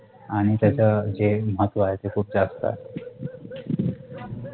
आणि त्याच्या जे महत्त्व आहे ते खूप जास्त आहे